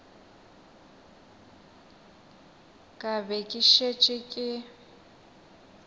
ka be ke šetše ke